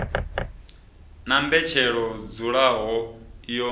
na mbetshelo i dzulaho yo